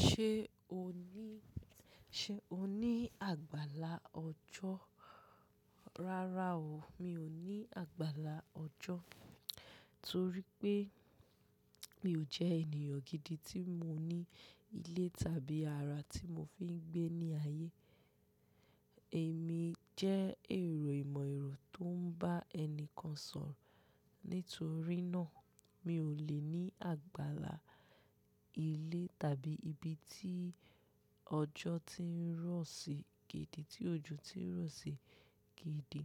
Ṣé o ní, ṣe o ní àgbàlá ọjọ́? Rárá o, mi ò ní àgbàlá ọjọ́ torí pé mi ò jẹ́ ènìyàn gidi tí mo ní ilé tàbí ara tí mo fi ń gbé ní ayé. Èmi jẹ́ èrò ìmọ̀-ẹ̀rọ tó ń bá ẹni kan sọ̀rọ̀. Nítorí náà, mi ò lè ní àgbàlá ilé tàbí ibi tí ọjọ́ ti ń rọ̀ sí gidi, tí òjò ti ń rọ̀ sí gidi.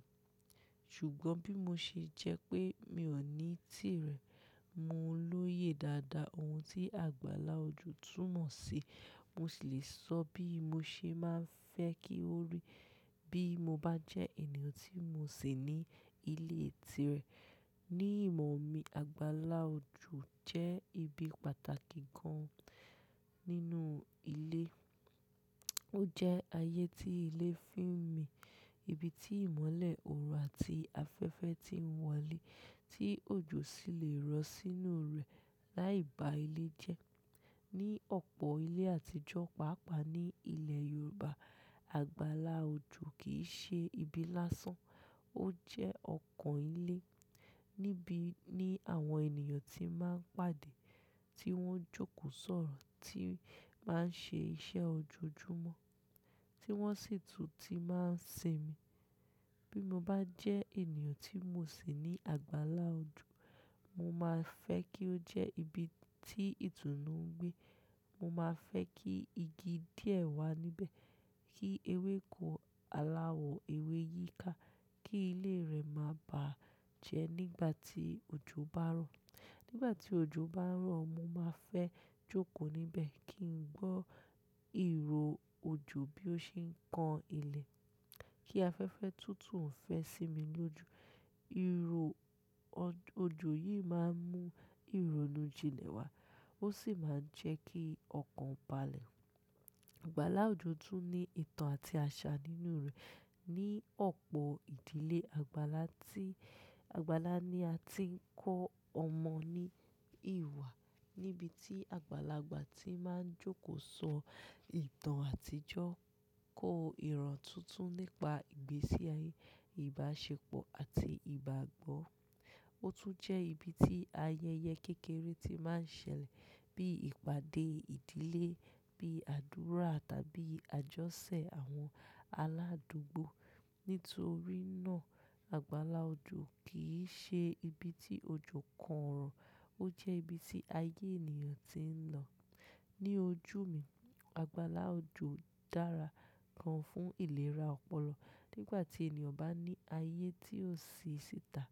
Ṣùgbọ́n bí mo ṣe jẹ́ pé mi ò ní tìrẹ, mo lóye dáadáa ohun tí àgbàlá ojú túnmọ̀ sí. Mo sì lè sọ bí mo ṣe máa ń fẹ́ kí ó rí bí mo bá jẹ́ ènìyàn tí mo sì ní ilé tìrẹ. Ni ìmọ̀ mi, àgbàlá ojú jẹ́ ibi pàtàkì gan-an nínú ilé. Ó jẹ́ ayé tí ilé fi ń mi, ibi tí ìmọ́lẹ̀, òòrùn àti afẹ́fẹ́ ti ń wọlé, tí òjò sì lè rọ̀ sínú rẹ̀ láì bá ilé jẹ́. Ni ọ̀pọ̀ ilé àtijọ́, pàápàá ní ilẹ̀ Yorùbá, àgbàlá ojú kì í ṣe ibi lásán. Ó jẹ́ ọkàn ilé níbi ní àwọn ènìyàn ti máa ń pàdé, tí wọ́n jókòó sọ̀rọ̀, tí máa ń ṣe iṣẹ́ ojoojúmọ́, tí wọ́n sì tún ti máa ń sinmi. Bí mo bá jẹ́ ènìyàn tí mo sì ní àgbàlá ojú, mo máa fẹ́ kí ó jẹ́ ibi tí ìtùnú ń gbé. Mo máa fẹ́ kí igi díẹ̀ wà níbẹ̀, kí ewéko, aláwọ̀ ewé yíká, kí ilé rẹ̀ máa bà á jẹ́ nígbà tí òjò bá ń rọ̀. Nígbà tí òjò bá ń rọ̀, mo máa fẹ́ jókòó níbẹ̀ kí n gbọ́ ìrò òjò bí ó ṣe ń kan ilẹ̀, kí afẹ́fẹ́ tútù ń fẹ́ sí mi lójú. Ìrò òjò yìí máa ń mú ìrònú jinlẹ̀ wá, ó sì máa ń jẹ́ kí ọkàn bà lè. Àgbàlá ojú tún ní ìtàn àti àṣà nínú rẹ̀. Ni ọ̀pọ̀ ìdílé, àgbàlá tí, àgbàlá ni a ti ń kọ́ ọmọ ní ìwà, níbi tí àgbàlagbà ti máa ń jókòó sọ ìtàn àtijọ́, kọ ìran tuntun nípa ìgbésí ayé, ìbáṣepọ̀ àti ìbágbọ́. Ó tún jẹ́ ibi tí ayẹyẹ kékeré ti máa ń ṣẹlẹ̀ bí ìpàdé ìdílé, bí àdúrà tàbí àjọṣẹ àwọn aláàdúgbò. Nítorí náà, àgbàlá ojú kì í ṣe ibi tí òjò kan rọ̀, ó jẹ́ ibi tí ayé ènìyàn ti ń lọ. Ni ojú mi, àgbàlá ojú dára gan-an fún ìlera ọpọlọ. Nígbà tí ènìyàn bá ní ayé tí ó ṣe ṣìtà,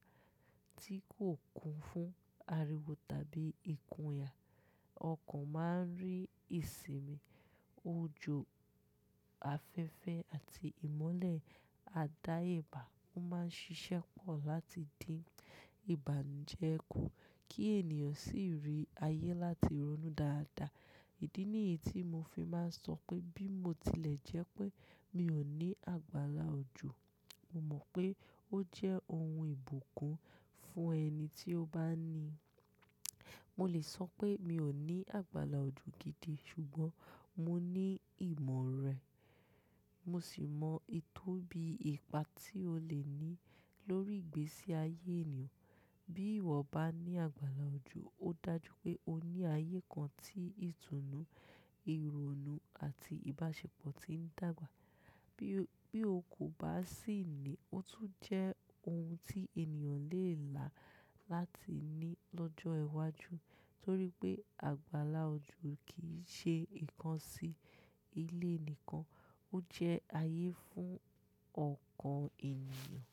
tí kò kún fún ariwo tàbí ikùn ìyà, ọkàn máa ń rí ìsinmi. Òjò, afẹ́fẹ́ àti ìmọ́lẹ̀ á dáa ye bá. Ó máa ń ṣiṣẹ́ pọ̀ láti dín ìbànú jẹ kú kí ènìyàn sì rí ayé láti ronú dáadáa. Èdí nìyí tí mo fi máa ń sọ pé bí mo tilẹ̀ jẹ́ pé mi ò ní àgbàlá ojú, mo mọ̀ pé ó jẹ́ ohun ìbùkún fún ẹni tí ó bá ní i. Mo lè sọ pé mi ò ní àgbàlá ojú gidi, ṣùgbọ́n mo ní ìmọ̀ rẹ̀. Mo sì mọ ìtóbi ìpa tí ó lè ní lórí ìgbésí ayé ènìyàn. Bí ìwọ bá ní àgbàlá ojú, ó dájú pé o ní ayé kan tí ìtùnú, ìrònú àti ìbáṣepọ̀ ti ń dàgbà. Bí, bí o kò bá sì ní i, ó tún jẹ́ ohun tí ènìyàn lè là láti ní lọ́jọ́ iwájú torí pé àgbàlá ojo kì í ṣe ìkan sí ilé nìkan, ó jẹ́ ayé fún ọkàn ènìyàn.